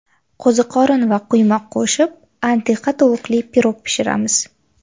Qo‘ziqorin va quymoq qo‘shib antiqa tovuqli pirog pishiramiz.